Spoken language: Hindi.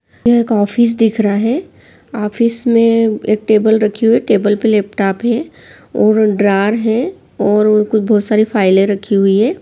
ये एक ऑफिस दिख रहा है ओफिस में एक टेबल रखी हुई है टेबल पर लैपटॉप है और ड्रॉवर है और बहुत सारी फाइले रखी हुई हैं।